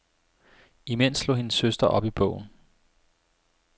Imens slog hendes søster op i bogen.